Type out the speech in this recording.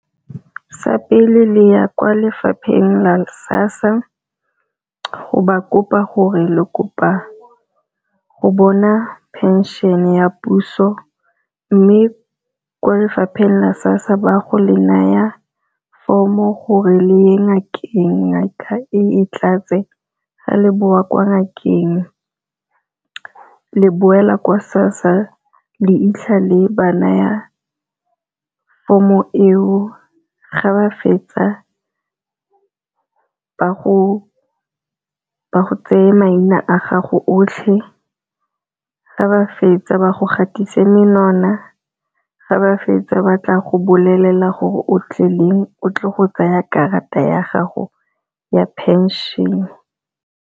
Sa pele le ya kwa lefapheng la SASSA go ba kopa gore le kopa go bona pension ya puso, mme kwa lefapheng la SASSA ba go le naya form-o gore le ya ngakeng. Ngaka e tlatse ga le boa kwa ngakeng le boela kwa SASSA le 'itlha le ba naya from-o eo, ga ba fetsa ba go tseye maina a gago otlhe, ga ba fetsa ba go gatise menwana, ga ba fetsa ba tla go bolelela gore o tle leng o tle go tsaya karata ya gago ya pension.